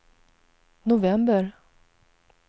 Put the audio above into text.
november